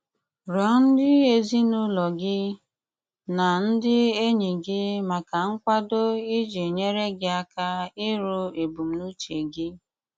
Rịọ́ ndí ézínùlò gí ná ndí énýí gí mákà nkwádó́ íjì nyéré gí áká írú ébùmnùchè gí.